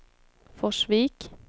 Forsvik